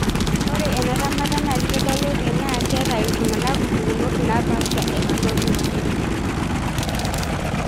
Ore ena temata naa keitodolu tenaa ketaa oltungani mpukunot napasha e hemoglobin.